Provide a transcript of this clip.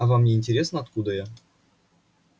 а вам не интересно откуда я